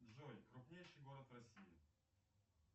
джой крупнейший город в россии